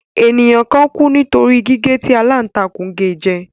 Ènìyàn kan kú nítorí gígé tí aláǹtakù ge jẹ.